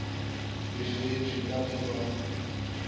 befetšwe ka ge ba mo